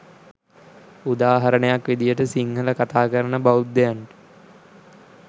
උදාහරණයක් විදිහට සිංහල කථාකරන බෞද්ධයින්ට